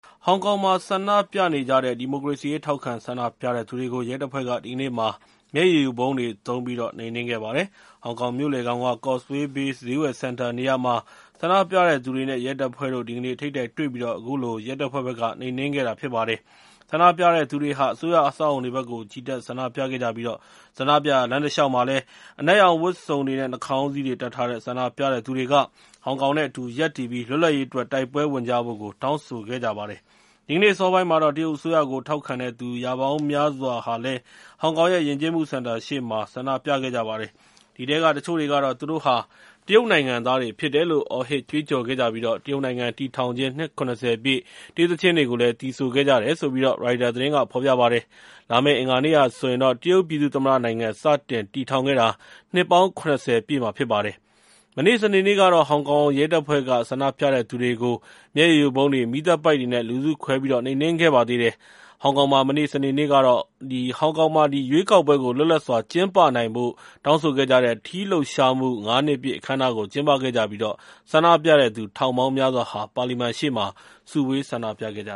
ဟောင်ကောင်မှာ ဆန္ဒပြနေကြတဲ့ ဒီမိုကရေစီရေး ထောက်ခံဆန္ဒပြတဲ့သူတွေကို ရဲတပ်ဖွဲ့က ဒီကနေ့မှာ မျက်ရည်ယိုဗုံးတွေ သုံးပြီးတော့ နှိမ်နင်းခဲ့ပါတယ်။ ဟောင်ကောင်မြို့လယ်ခေါင်က Causeway Bay ဈေးဝယ်စင်တာနေရာမှာ ဆန္ဒပြတဲ့သူတွေနဲ့ ရဲတပ်ဖွဲ့တို့ ဒီကနေ့ ထိပ်တိုက်တွေ့ပြီး အခုလို ရဲတပ်ဖွဲ့ဘက်က နှိမ်နင်းခဲ့တာ ဖြစ်ပါတယ်။ ဆန္ဒပြတဲ့သူတွေဟာ အစိုးရအဆောက်အအုံတွေဘက်ကို ချီတက်ဆန္ဒပြခဲ့ကြပြီး ဆန္ဒပြရာ လမ်းတလျှောက်မှာလည်း အနက်ရောင်ဝတ်စုံတွေနဲ့ နှာခေါင်းစည်းတွေ တပ်ထားတဲ့ ဆန္ဒပြတဲ့သူတွေက ဟောင်ကောင်နဲ့ အတူူရပ်တည်ပြီး လွတ်လပ်ရေးအတွက် တိုက်ပွဲဝင်ကြဖို့ တောင်းဆိုခဲ့ကြပါတယ်။ ဒီကနေ့ အစောပိုင်းမှာတော့ တရုတ်အစိုးရကို ထောက်ခံတဲ့သူ ရာပေါင်းများစွာဟာ ဟောင်ကောင်ရဲ့ ယဉ်ကျေးမှုစင်တာရှေ့မှာ ဆန္ဒပြခဲ့ကြပါတယ်။ အဲဒီထဲက တချို့တွေကတော့ သူတို့ဟာ တရုတ်နိုင်ငံသားတွေဖြစ်တယ်လို့ အော်ဟစ်ကြွေးကြော်ခဲ့ကြပြီး တရုတ်နိုင်ငံတည်ထောင်ခြင်း နှစ် ၇၀ ပြည့် တေးသီချင်းတွေကို သီဆိုခဲ့ကြတယ်လို့ ရိုက်တာသတင်းက ဖော်ပြပါတယ်။ လာမယ့် အင်္ဂါနေ့ဟာဆိုရင် တရုတ်ပြည်သူ့သမ္မတနိုင်ငံ စတင်တည်ထောင်ခဲ့တာ နှစ်ပေါင်း ၇၀ ပြည့်မှာ ဖြစ်ပါတယ်။ မနေ့ စနေနေ့ကတော့ ဟောင်ကောင်ရဲတပ်ဖွဲ့က ဆန္ဒပြတဲ့သူတွေကို မျက်ရည်ယိုဗုံးတွေ၊ မီးသတ်ပိုက်တွေနဲ့ လူစုခွဲ နှိမ်နင်းခဲ့ပါသေးတယ်။ ဟောင်ကောင်မှာ မနေ့ စနေနေ့ကတော့ ရွေးကောက်ပွဲ လွတ်လပ်စွာကျင်းပနိုင်ဖို့ တောင်းဆိုခဲ့ကြတဲ့ ထီးလှုပ်ရှားမှု ၅ နှစ်ပြည့်အခမ်းအနား ကျင်းပခဲ့ပြီး ဆန္ဒပြတဲ့သူ ထောင်ပေါင်းများစွာဟာ ပါလီမန်ရှေ့မှာ စုဝေး ဆန္ဒပြခဲ့ကြ